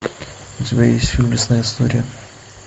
у тебя есть фильм лесная история